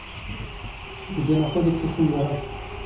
где находится фиера